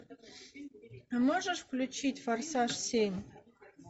можешь включить форсаж семь